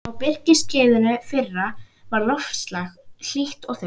Á birkiskeiðinu fyrra var loftslag hlýtt og þurrt.